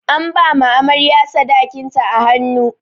An ba amarya sadakin ta a hannu.